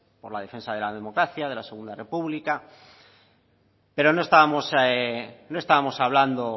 por la defensa de la democracia de la segunda república pero no estábamos hablando